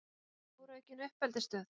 Stóraukin uppeldisstöð?